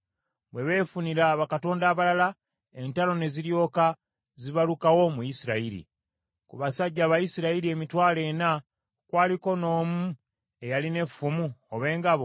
Bwe beefunira abakulembeze abalala, entalo ne ziryoka zibalukawo mu Isirayiri. Ku basajja Abayisirayiri emitwalo ena kwaliko n’omu eyalina effumu oba engabo?